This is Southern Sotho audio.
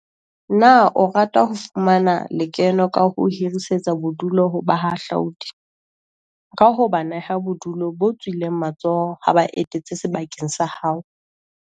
Na o rata ho fumana le keno ka ho hirisetsa bodulu ho bahahlaudi, ka ho ba neha bodulo bo tswileng matsoho ha ba etetse sebaka sa hao?